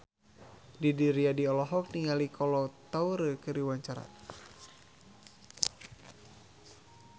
Didi Riyadi olohok ningali Kolo Taure keur diwawancara